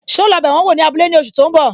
So lọ bẹ wọn wò ní abúlé ní oṣù tó ń bọ̀?